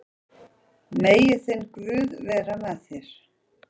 Megi þinn guð vera með þér.